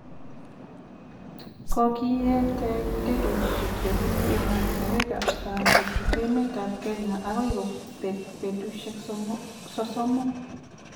Kogietee ndegeinik chebunu emotinwek ab saang kochut emet ab Kenya agoi kobeek betusyek sosomu